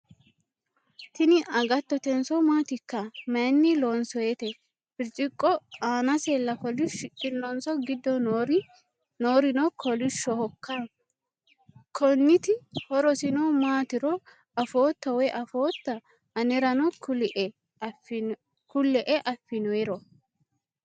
Tini agattotenso maatikka? Mayiinni loonsoyiite? Birciqo aanasella kolishidhinonso giddo noorino kolishshohokka? Konniti horosino maatiro afootto woyi afootta? Anerano kulle'e affinoyiiro?